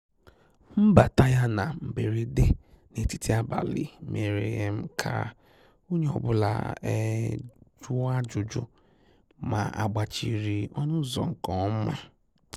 Mbàtà yá na mberede n'etiti abalị mèrè um kà onye ọ bụla um jụọ ajụjụ mà àgbàchìrì ọnụ́ ụ́zọ̀ nke ọma.